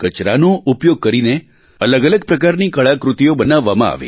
કચરાનો ઉપયોગ કરીને અલગઅલગ પ્રકારની કળાકૃતિઓ બનાવવામાં આવી